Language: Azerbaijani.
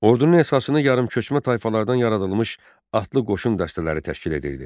Ordunun əsasını yarımköçmə tayfalardan yaradılmış atlı qoşun dəstələri təşkil edirdi.